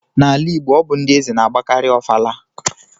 N'ala Igbo, ọ bụ ndị eze na-agbakarị ofala